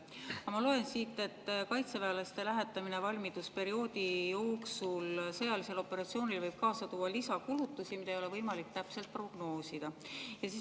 Aga ma loen siit, et kaitseväelaste lähetamine sõjalisele operatsioonile valmidusperioodi jooksul võib kaasa tuua lisakulutusi, mida ei ole võimalik täpselt prognoosida.